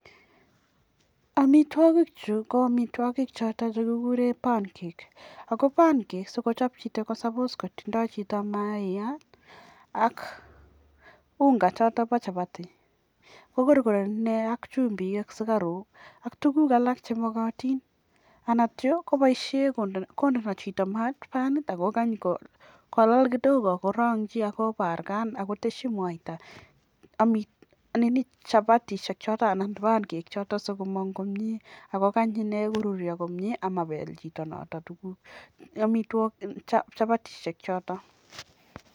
amitwqagiik chuu ko amitwagik chotok chekikuree (pancake) sikochop chito mayaat kokorkoranii akoteshii chumbiik anan ko sukaruuk sikochopak